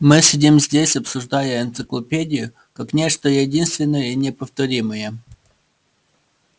мы сидим здесь обсуждая энциклопедию как нечто единственное и неповторимое